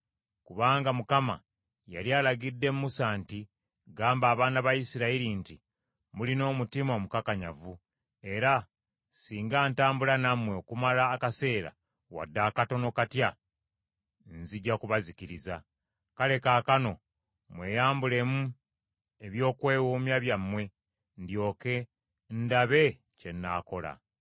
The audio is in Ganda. Kubanga Mukama yali alagidde Musa nti, “Gamba abaana ba Isirayiri nti, ‘Mulina omutima omukakanyavu, era singa ntambula nammwe okumala akaseera wadde katono katya, nzija kubazikiriza. Kale kaakano mweyambulemu ebyokwewoomya byammwe, ndyoke ndabe kye nnaakola.’ ”